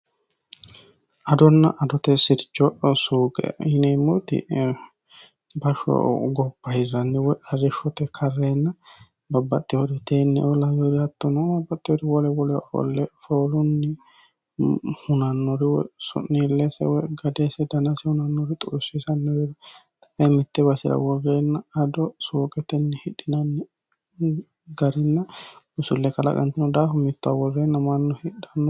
adonna adote sircho suuqe yineemmooti basho gopa hirranni woy arrishshote karreenna babbaxxihori teenneoo laweri hattonoo babbaxxiori wole wole orolle foolunni hunannori woy su'niilleese woy gadeese danase hunannori xuussiisanno weeri xae mitte basira worreenna ado suuqetenni hidhinanni garinna usulle qalaqantino daahu mittowa worreenna manno hidhanno